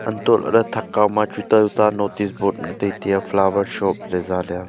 hantoh lahley thak kawma chu tuta tuta notice board tai tiya flower shop ley jaley a.